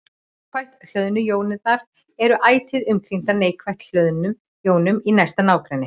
Jákvætt hlöðnu jónirnar eru ætíð umkringdar neikvætt hlöðnum jónum í næsta nágrenni.